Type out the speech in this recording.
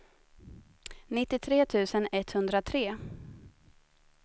nittiotre tusen etthundratre